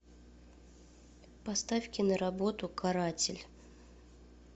поставь киноработу каратель